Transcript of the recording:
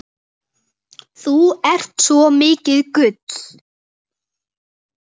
Þú ert svo mikið gull.